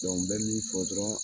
Dɔnku n bɛ min fɔ dɔrɔn